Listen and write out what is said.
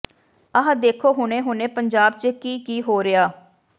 ਆਹ ਦੇਖੋ ਹੁਣੇ ਹੁਣੇ ਪੰਜਾਬ ਚ ਕੀ ਕੀ ਹੋ ਰਿਹਾ